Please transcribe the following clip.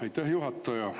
Aitäh, juhataja!